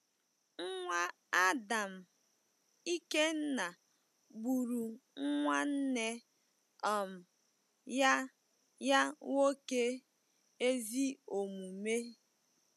Nwa Adam Ikenna gburu nwanne um ya ya nwoke ezi omume.